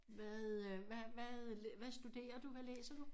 Hvad øh hvad hvad hvad studerer du hvad læser du?